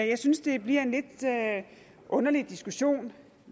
jeg synes det bliver en lidt underlig diskussion